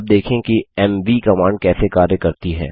अब देखें कि एमवी कमांड कैसे कार्य करती है